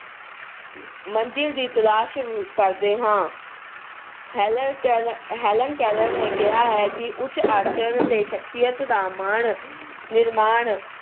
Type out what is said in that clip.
ਮੰਜਿਲ ਦੀ ਤਲਾਸ਼ ਕਰਦੇ ਹਾਂ। Helen Keller ਅਹ Helen Keller ਨੇ ਕਿਹਾ ਹੈ ਕਿ ਉਚ ਆਚਰਣ ਤੇ ਸਖਸ਼ੀਅਤ ਦਾ ਮਾਣ ਅਹ ਨਿਰਮਾਣ